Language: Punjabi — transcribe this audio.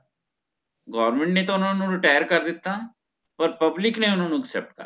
government ਨੇ ਤਹ ਓਹਨਾ ਨੂ retire ਕਰ ਦਿਤਾ ਪਰ public ਨੇ ਓਹਨਾ ਨੂ accept ਕਰਲਿਆ